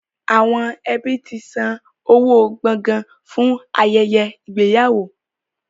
Àwọn ẹbí ti san owó gbọ̀gàn fún ayẹyẹ ìgbéyàwó.